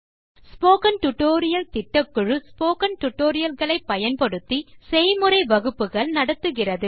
spoken tutorial திட்டக்குழு spoken tutorial களை பயன்படுத்தி செய்முறை வகுப்புகள் நடத்துகிறது